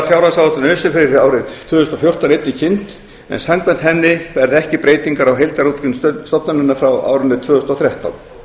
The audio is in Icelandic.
fjárhagsáætlun öse fyrir árið tvö þúsund og fjórtán einnig kynnt en samkvæmt henni verða ekki breytingar á heildarútgjöldum stofnunarinnar frá árinu tvö þúsund og þrettán